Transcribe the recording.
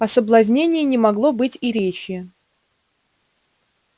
о соблазнении не могло быть и речи